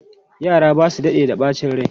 Yara ba su daɗe da ɓacin rai.